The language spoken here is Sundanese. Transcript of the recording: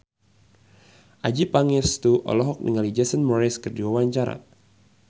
Adjie Pangestu olohok ningali Jason Mraz keur diwawancara